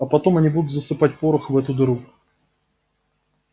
а потом они будут засыпать порох в эту дыру